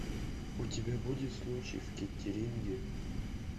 у тебя будет случай в кеттеринге